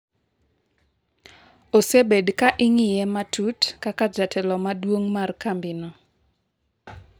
osebed ka ing'iye matut kaka jatelo maduong' mar kambino